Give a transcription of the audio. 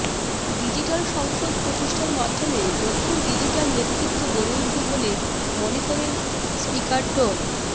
digital সংসদ প্রতিষ্ঠার মাধ্যমে নতুন ডিজিটাল নেতৃত্ব গড়ে উঠবে বলে মনে করেন স্পিকার ড